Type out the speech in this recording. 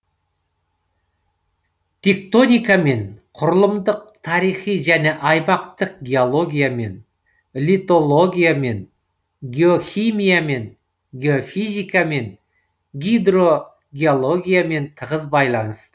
тектоникамен құрылымдық тарихи жене аймақтық геологиямен литологиямен геохимиямен геофизикамен гидрогеологиямен тығыз байланысты